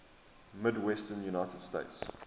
midwestern united states